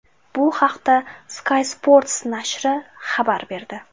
Bu haqda Sky Sports nashri xabar berdi .